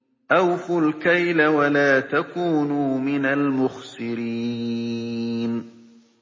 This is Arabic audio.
۞ أَوْفُوا الْكَيْلَ وَلَا تَكُونُوا مِنَ الْمُخْسِرِينَ